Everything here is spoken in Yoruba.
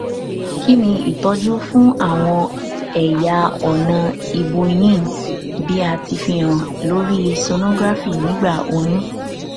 kini itọju fun àwọn ẹyà ọnà ibuyin bi a ti fihan lori sonography nigba oyun